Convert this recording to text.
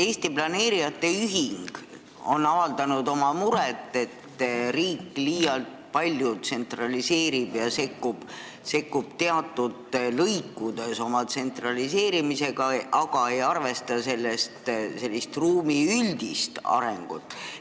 Eesti Planeerijate Ühing on avaldanud oma muret, et riik tsentraliseerib liialt palju ja sekkub teatud lõikudes, aga ei arvesta ruumi üldist arengut.